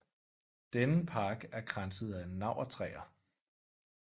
Denne park er kranset af navrtræer